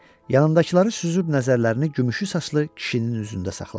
Yanındakıları süzüb nəzərlərini gümüşü saçlı kişinin üzündə saxladı.